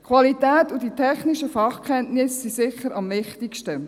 Qualität und die technischen Fachkenntnisse sind sicher am wichtigsten.